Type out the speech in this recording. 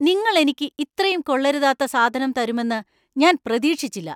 നിങ്ങൾ എനിക്ക് ഇത്രയും കൊള്ളരുതാത്ത സാധനം തരുമെന്ന് ഞാൻ പ്രതീക്ഷിച്ചില്ല.